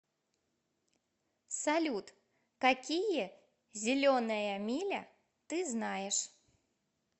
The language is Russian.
салют какие зеленая миля ты знаешь